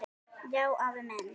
Já, afi minn.